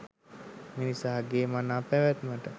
මිනිසාගේ මනා පැවැත්මට